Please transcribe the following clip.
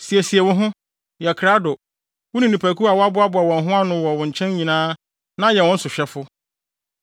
“ ‘Siesie wo ho, yɛ krado, wo ne nnipakuw a wɔaboaboa wɔn ho ano wɔ wo nkyɛn nyinaa na yɛ wɔn so hwɛfo.